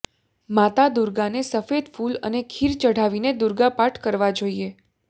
માતા દુર્ગાને સફેદ ફૂલ અને ખીર ચઢાવીને દુર્ગા પાઠ કરવા જોઈએ